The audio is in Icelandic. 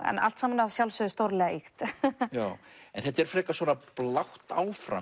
allt saman að sjálfsögðu stórlega ýkt en þetta er frekar svona blátt áfram